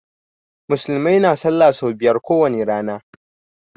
Musulmai na sallah so biyar ko wani rana.